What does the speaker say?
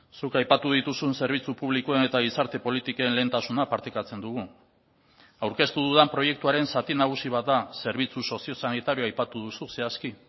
zuk aipatu dituzun zerbitzu publikoen eta gizarte politiken lehentasuna partekatzen dugu aurkeztu dudan proiektuaren zati nagusi bat da zerbitzu soziosanitarioa aipatu duzu zehazki